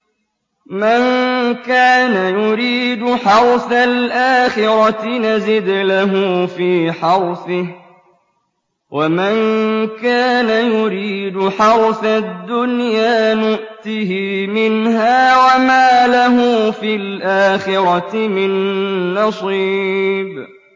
مَن كَانَ يُرِيدُ حَرْثَ الْآخِرَةِ نَزِدْ لَهُ فِي حَرْثِهِ ۖ وَمَن كَانَ يُرِيدُ حَرْثَ الدُّنْيَا نُؤْتِهِ مِنْهَا وَمَا لَهُ فِي الْآخِرَةِ مِن نَّصِيبٍ